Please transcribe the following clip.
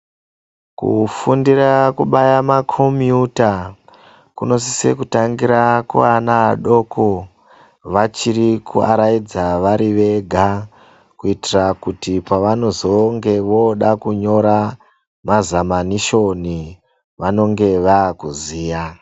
Kufundira kubaya makombiyuta kunosise kutangira kuana adoko, vachiri kuaraidza vari vega, kuitira kuti pavanozonge vooda kunyora mazamanishoni, vanonge vaakuziya.